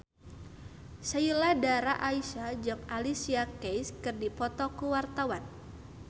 Sheila Dara Aisha jeung Alicia Keys keur dipoto ku wartawan